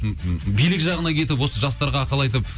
билік жағына кетіп осы жастарға ақыл айтып